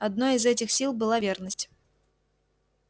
одной из этих сил была верность